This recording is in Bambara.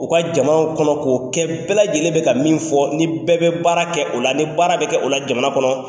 O ka jamanaw kɔnɔ k'o kɛ bɛɛ lajɛlen bɛ ka min fɔ, ni bɛɛ bɛ baara kɛ o la, ni baara bɛ kɛ o la jamana kɔnɔ.